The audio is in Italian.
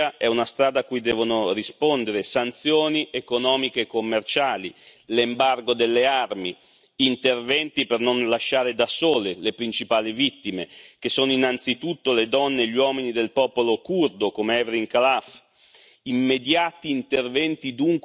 L'intervento militare della Turchia è una strada a cui devono rispondere sanzioni economiche e commerciali, l'embargo delle armi, interventi per non lasciare da sole le principali vittime che sono innanzitutto le donne e gli uomini del popolo curdo come Hevrin Khalaf.